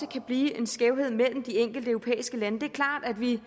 kan blive en skævhed imellem de enkelte europæiske lande det er klart at vi